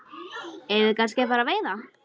Eigum við kannski að fara að veiða?